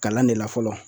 Kalan de la fɔlɔ